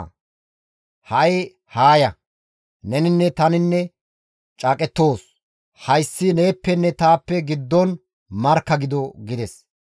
Ane ha7i haa ya; neninne tani caaqettoos; hayssi neeppenne taappe giddon markka gido» gides.